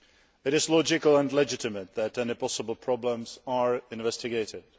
It is logical and legitimate that any possible problems are investigated.